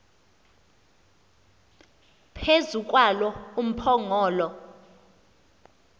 phezu kwalo umphongolo